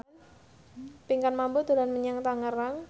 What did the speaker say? Pinkan Mambo dolan menyang Tangerang